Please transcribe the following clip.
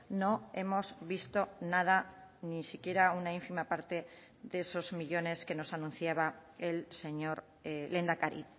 no hemos visto nada ni siquiera una ínfima parte de esos millónes que nos anunciaba el señor lehendakari